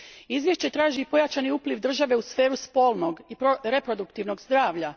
Izvješće traži pojačani upliv države u sferu spolnog i reproduktivnog zdravlja.